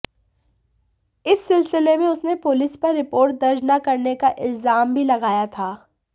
इस सिलसिले में उसने पुलिस पर रिपोर्ट दर्ज न करने का इल्जाम भी लगाया था